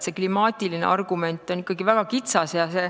See klimaatiline argument on ikkagi väga kitsas.